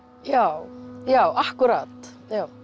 já já akkúrat